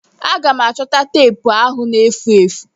Aga m achọta teepu ahụ na-efu efu.